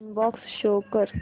inbox show कर